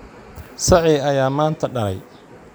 Sacii ayaa maanta dhalay